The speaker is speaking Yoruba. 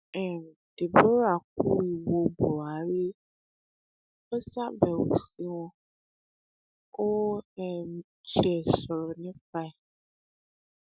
um deborah kú ìwo buhari ó ṣàbẹwò sí wọn ó um tiẹ sọrọ nípa ẹ